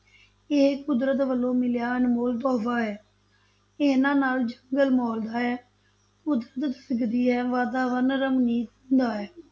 ਇਹ ਕੁਦਰਤ ਵੱਲੋਂ ਮਿਲਿਆ ਅਨਮੋਲ ਤੋਹਫ਼ਾ ਹੈ, ਇਹਨਾਂ ਨਾਲ ਜੰਗਲ ਮੋਲਦਾ ਹੈ, ਕੁਦਰਤ ਧੜਕਦੀ ਹੈ, ਵਾਤਾਵਰਨ ਰਮਣੀਕ ਹੁੰਦਾ ਹੈ।